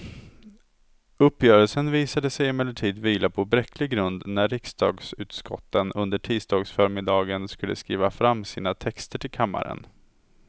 Uppgörelsen visade sig emellertid vila på bräcklig grund när riksdagsutskotten under tisdagsförmiddagen skulle skriva fram sina texter till kammaren.